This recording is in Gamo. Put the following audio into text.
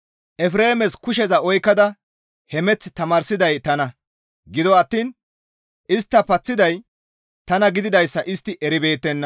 Efreemes kusheza oykkada hemeth tamaarsiday tana; Gido attiin istta paththiday tana gididayssa istti eribeettenna.